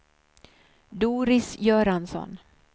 Doris Göransson